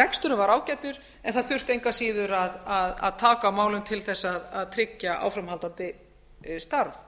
reksturinn var ágætur en það þurfti engu að síður að taka á málum til þess að tryggja áframhaldandi starf